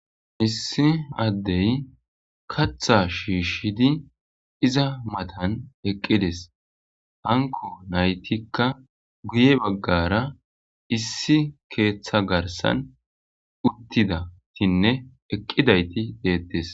issi addey katha shiishidi iza matan eqqides hanko naytikka guye baggara issi keeththa garsan uttidatinne eqqidayti deettes